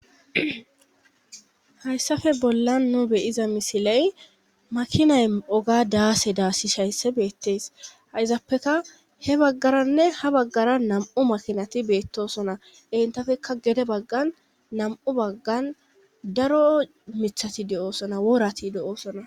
Hayssafe bollan nu beyiza misiley makinay oga daase daasi shaysse beettes hayzappeka he baggaranne ha baggara nam7u makinati beettosona entafekka gede baggan nam7u baggan daro mithati de7oosona worati de7oosona